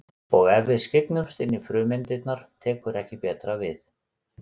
Og ef við skyggnumst inn í frumeindirnar tekur ekki betra við.